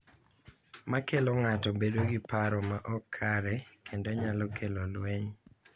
Makelo ng’ato bedo gi paro ma ok kare kendo nyalo kelo lweny.